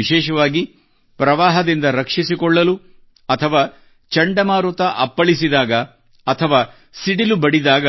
ವಿಶೇಷವಾಗಿ ಪ್ರವಾಹದಿಂದ ರಕ್ಷಿಸಿಕೊಳ್ಳಲು ಅಥವಾ ಚಂಡಮಾರುತ ಅಪ್ಪಳಿಸಿದಾಗ ಅಥವಾ ಸಿಡಿಲು ಬಡಿದಾಗ